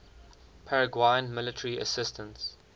paraguayan military assistance